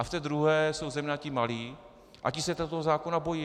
A v té druhé jsou zejména ti malí a ti se toho zákona bojí.